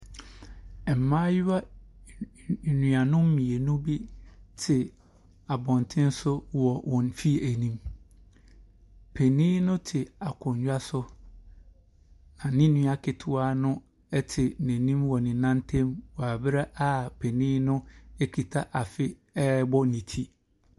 Mmayewa an an anuanom mmienu bi te abɔnten so wɔ wɔn fie anim. Panin no te akonnwa so, na ne nua ketewa no te n'anim wɔ ne nan ntam wɔ berɛ a ɔpanin no kita afe rebɔ ne ti.